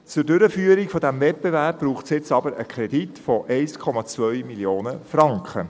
Zur Durchführung dieses Wettbewerbs braucht es aber einen Kredit im Umfang von 1,2 Mio. Franken.